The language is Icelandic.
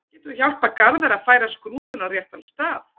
Getur þú hjálpað Garðari að færa skrúfuna á réttan stað?